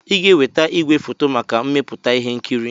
Ị ga-eweta igwefoto maka mmepụta ihe nkiri!